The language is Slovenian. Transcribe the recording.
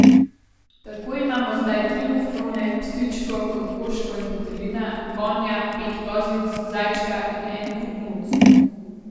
Tako imamo zdaj tri muflone, psičko, kokoško in petelina, konja, pet kozic, zajčka in en kup muc.